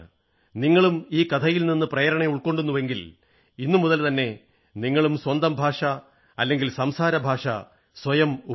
നിങ്ങളും ഈ കഥയിൽ നിന്ന് പ്രേരണ ഉൾക്കൊള്ളുന്നുവെങ്കിൽ ഇന്നുമുതൽ തന്നെ സ്വന്തം മാതൃഭാഷ അല്ലെങ്കിൽ സംസാരഭാഷ സ്വയം ഉപയോഗിക്കൂ